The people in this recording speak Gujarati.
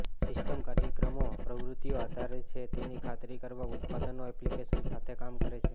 સિસ્ટમ કાર્યક્રમો પ્રવૃત્તિઓ આધાર છે તેની ખાતરી કરવા ઉત્પાદનો એપ્લિકેશન્સ સાથે કામ કરે છે